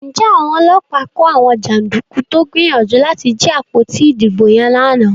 Njé Àwọn ọlọ́pàá kò àwọn janduku tó gbìyànjú láti jí àpótí ìdìbò yen lànà?